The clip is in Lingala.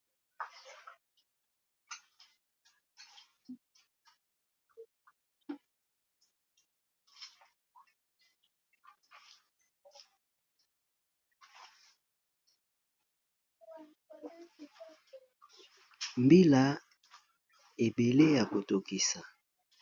Mbila ebele yako tokisa.